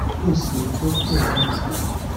yoo sọ ooto pẹlu rẹ